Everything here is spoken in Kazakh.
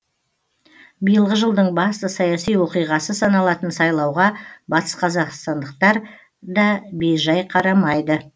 биылғы жылдың басты саяси оқиғасы саналатын сайлауға батысқазақстандықтар да бейжай қарамайды